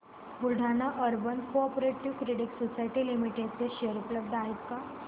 Buldhana urban cooperative credit society limited चे share उपलब्ध आहेत का